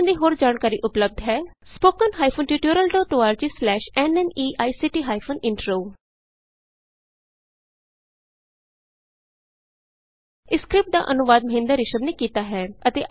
ਇਸ ਮਿਸ਼ਨ ਦੀ ਹੋਰ ਜਾਣਕਾਰੀ ਉਪਲੱਭਦ ਹੈ httpspoken tutorialorg ਸਲੈਸ਼ ਨਮੈਕਟ ਹਾਈਫਨ ਇੰਟਰੋ ਇਸ ਸਕਰਿਪਟ ਦਾ ਅਨੁਵਾਦ ਮਹਿੰਦਰ ਰਿਸ਼ਮ ਨੇ ਕੀਤਾ ਹੈ